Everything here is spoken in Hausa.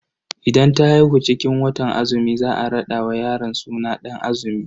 Idan ta haihu cikin watan azumi za a rada wa yaron suna Dan azumi.